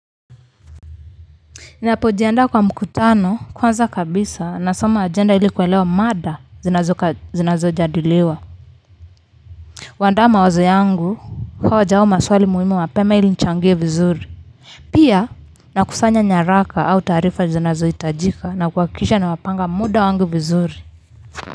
Ninapojiandaa kwa mkutano, kwanza kabisa nasoma ajenda ili kuelewa mada zinazojadiliwa. Huandaa mawazo yangu, hoja au maswali muhimu mapema ili nichangie vizuri. Pia nakusanya nyaraka au taarifa zinazohitajika na kuhakikisha napanga muda wangu vizuri.